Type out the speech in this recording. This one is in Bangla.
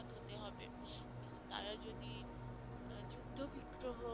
হতে হবে তারা যদি যুদ্ধ বিগ্রহ